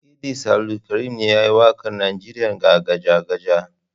Idris Abdulkarim ne ya yi waƙar Najeriya Gajagaja.